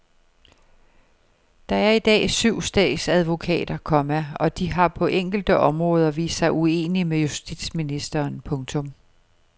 Der er i dag syv statsadvokater, komma og de har på enkelte områder vist sig uenige med justitsministeren. punktum